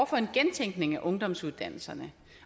for en gentænkning af ungdomsuddannelserne